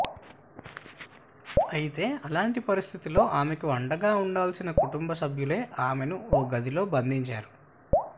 అయితే అలాంటి పరిస్థితిలో ఆమెకు అండగా ఉండాల్సిన కుటుంబసభ్యులే ఆమెను ఓ గదిలో బంధించారు